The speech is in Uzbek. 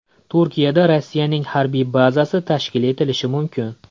Turkiyada Rossiyaning harbiy bazasi tashkil etilishi mumkin.